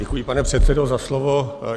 Děkuji, pane předsedo, za slovo.